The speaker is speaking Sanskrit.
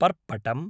पर्पटम्